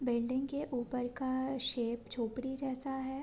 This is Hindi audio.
बिल्डिंग के ऊपर का शेप झोपडी जैसा है।